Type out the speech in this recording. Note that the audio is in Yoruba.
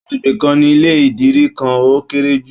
Agbègbè kan ní ilé idiri kan o kere ju.